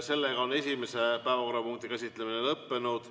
Sellega on päevakorrapunkti käsitlemine lõppenud.